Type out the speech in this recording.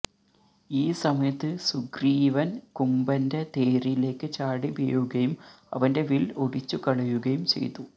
ഈ സമയത്ത് സുഗ്രീവന് കുംഭന്റെ തേരിലേക്ക് ചാടിവീഴുകയും അവന്റെ വില് ഒടിച്ചുകളയുകയും ചെയ്തു